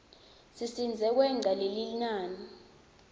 sisidze kwengca lelinani